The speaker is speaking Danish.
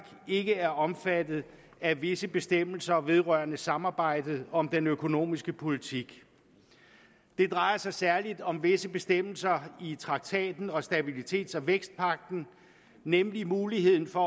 ikke er omfattet af visse bestemmelser vedrørende samarbejdet om den økonomiske politik det drejer sig særligt om visse bestemmelser i traktaten og stabilitets og vækstpagten nemlig muligheden for